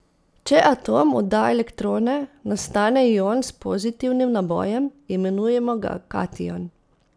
Če atom odda elektrone, nastane ion s pozitivnim nabojem, imenujemo ga kation.